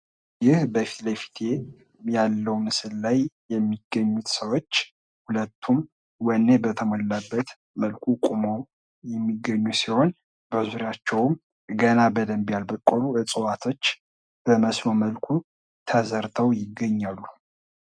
ይህ ከፊትለፊቴ ያለው ምስል ላይየሚገኙት ሰዎች ሁለቱም ወኔ በተሞላበት መልኩ ቆመው የሚገኙ ሲሆን በዙሪያቸውም ገና በደንብ ያልበቀሉ ዕፅዋቶች በመስኖ መልኩ ተዘርተው ይገኛሉ።